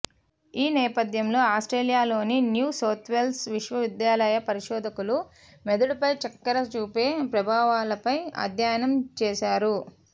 ఈ నేపథ్యంలో ఆస్ట్రేలియాలోని న్యూ సౌత్వేల్స్ విశ్వవిద్యాల పరిశోధకులు మెదడుపై చక్కెర చూపే ప్రభావాలపై అధ్యయనం చేశారు